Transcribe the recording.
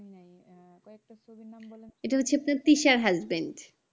ইটা হচ্ছে তার পিসার husband